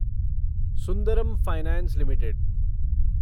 Sundaram finance limited